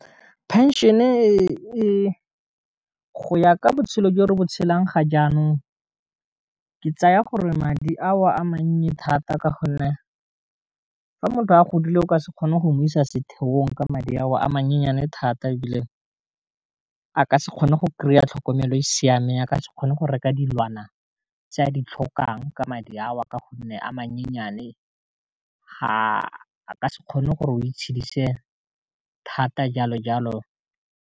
Pension-e go ya ka botshelo jo re bo tshelang ga jaanong, ke tsaya gore madi a o a mannye thata ka gonne, fa motho a godile o ka se kgone go mo isa setheong ka madi a o a menyennyane thata, e bile ka se kgone go kry-a tlhokomelo e siameng a ka se kgone go reka dilwana tse a di tlhokang ka madi a o a ka gonne a mannyane ga a ka se kgone gore o itshedisa thata jalo jalo.